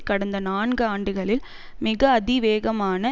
கடந்த நான்கு ஆண்டுகளில் மிக அதி வேகமான